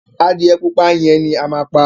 Adìyẹ pupa yẹn ni a máa pa.